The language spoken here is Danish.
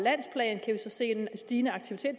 se en stigende aktivitet